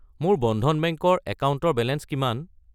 মোৰ বন্ধন বেংক ৰ একাউণ্টৰ বেলেঞ্চ কিমান?